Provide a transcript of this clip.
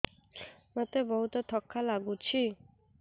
ମୋତେ ବହୁତ୍ ଥକା ଲାଗୁଛି